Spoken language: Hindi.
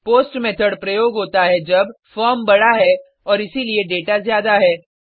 पोस्ट मेथड प्रयोग होता है जब फॉर्म बड़ा है और इसीलिए डेटा ज़्यादा है